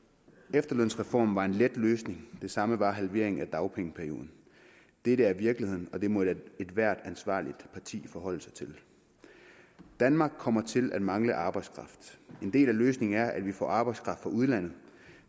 efterlønsreformen var en let løsning og det samme var halveringen af dagpengeperioden dette er virkeligheden og det må ethvert ansvarligt parti forholde sig til danmark kommer til at mangle arbejdskraft en del af løsningen er at vi får arbejdskraft fra udlandet